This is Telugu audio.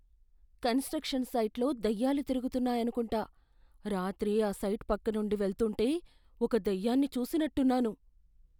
కన్స్ట్రక్షన్ సైట్లో దెయ్యాలు తిరుగుతున్నాయనుకుంటా. రాత్రి ఆ సైట్ పక్కనుండి వెళ్తుంటే ఒక దెయ్యాన్ని చూసినట్టున్నాను.